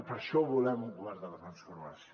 per això volem un govern de transformació